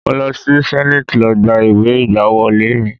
Mo lọ sí senate lọ gba ìwé ìgbàwọlé mi.